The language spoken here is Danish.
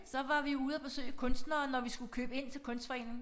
Så var vi ude at besøge kunstnere når vi skulle købe ind til kunstforeningen